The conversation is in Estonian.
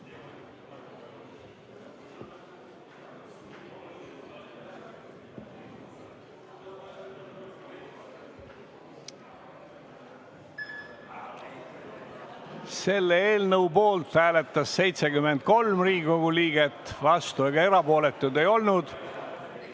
Hääletustulemused Selle eelnõu poolt hääletas 73 Riigikogu liiget, vastuolijaid ega erapooletuid ei olnud.